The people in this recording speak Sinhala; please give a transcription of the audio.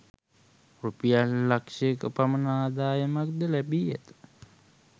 රුපියල් ලක්‍ෂ ක පමණ අදායමක් ද ලැබී ඇත